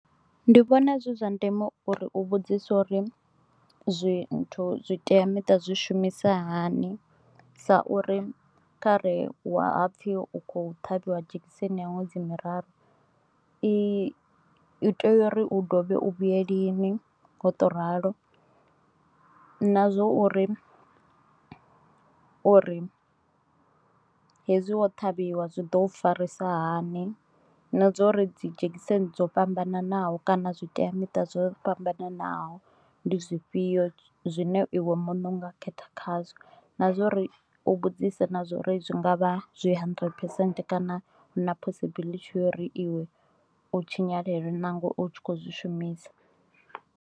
Ndi vhona zwi zwa ndeme uri u vhudzise uri zwithu zwitea muṱa zwi shumisa hani sa uri khare wa hapfi u kho ṱhavhiwa dzhekiseni ya ṅwedzi miraru i itea uri u dovhe u vhuye lini nga u to ralo nazwo uri uri hezwi wo ṱhavhiwa zwi ḓo farisa hani na zwa uri dzi dzhegiseni dzo fhambananaho kana zwitea miṱa zwo fhambananaho ndi zwifhio zwine iwe muṋe unga khetha khazwo, na zwori u vhudzise na zwori zwi ngavha zwi hundred phesenthe kana hu na possibility uri iwe u tshinyalelwe nangwe u tshi kho zwi shumisa.